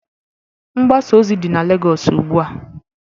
Mgbasa ozi dị na Lagos ugbu a